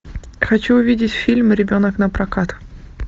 хочу увидеть фильм ребенок напрокат